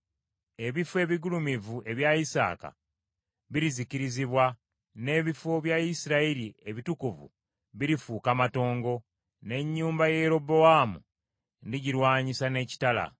“Ebifo ebigulumivu ebya Isaaka birizikirizibwa, n’ebifo bya Isirayiri ebitukuvu birifuuka matongo. N’ennyumba ya Yerobowaamu ndigirwanyisa n’ekitala.”